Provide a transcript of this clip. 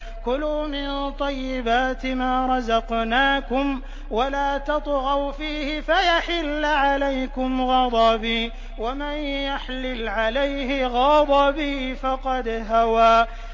كُلُوا مِن طَيِّبَاتِ مَا رَزَقْنَاكُمْ وَلَا تَطْغَوْا فِيهِ فَيَحِلَّ عَلَيْكُمْ غَضَبِي ۖ وَمَن يَحْلِلْ عَلَيْهِ غَضَبِي فَقَدْ هَوَىٰ